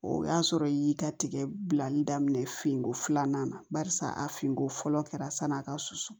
O y'a sɔrɔ i y'i ka tigɛ bilali daminɛ finko filanan na barisa a finko fɔlɔ kɛra sani a ka susu